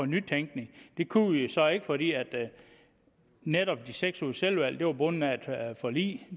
nytænkning det kunne vi jo så ikke fordi netop de seks ugers selvvalgt uddannelse var bundet af et forlig